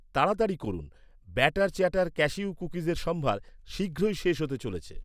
তাড়াতাড়ি করুন, batter chatter cashew কুকিজের সম্ভার শীঘ্রই শেষ হতে চলেছে